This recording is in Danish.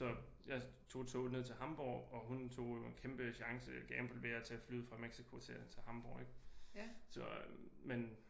Så jeg tog toget ned til Hamborg og hun tog jo en kæmpe chance gamble ved at tage flyet fra Mexico til Hamborg ik så øh men